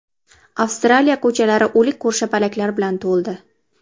Avstraliya ko‘chalari o‘lik ko‘rshapalaklar bilan to‘ldi.